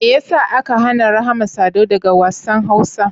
Mai ya sa aka hana Rahma Sadau daga wassan Hausa?